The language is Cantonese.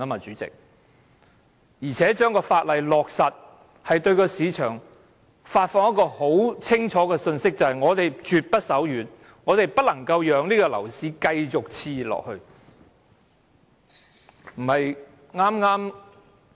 再者，通過法案會對市場發放清楚信息，表明政府絕不手軟，絕不讓樓市繼續熾熱下去。